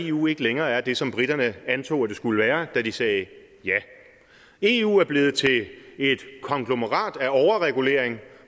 eu ikke længere er det som briterne antog det skulle være da de sagde ja eu er blevet til et konglomerat af overregulering